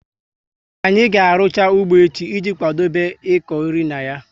Anyị ga arucha ụgbọ echi i ji kwadobe iko nri na ya